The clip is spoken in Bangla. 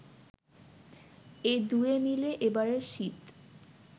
এ দুয়ে মিলে এবারের শীত